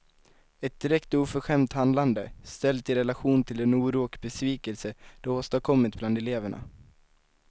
Ett direkt oförskämt handlande, ställt i relation till den oro och besvikelse det åstadkommit bland eleverna.